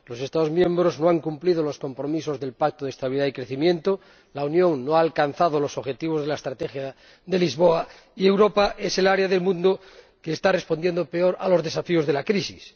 Los Estados miembros no han cumplido los compromisos del Pacto de Estabilidad y Crecimiento, la Unión no ha alcanzado los objetivos de la Estrategia de Lisboa, y Europa es el área del mundo que está respondiendo peor a los desafíos de la crisis.